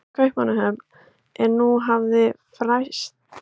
Kaupmannahöfn, og nú hafði frést að hann ætlaði að heimsækja Ísland á komandi sumri.